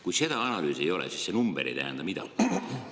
Kui seda analüüsi ei ole, siis see number ei tähenda midagi.